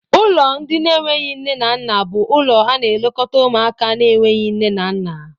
Ụlọ ndị na enweghị nne na nna bú ụlọ ana elekota ụmụaka na enweghị nne na nna.